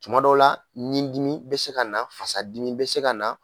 Tuma dɔw la nin dimi be se kana, fasa dimi be se ka na